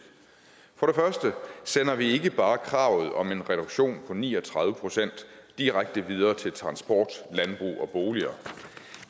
for første sender vi ikke bare kravet om en reduktion på ni og tredive procent direkte videre til landbruget og transport